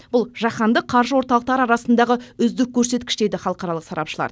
бұл жаһандық қаржы орталықтары арасындағы үздік көрсеткіш дейді халықаралық сарапшылар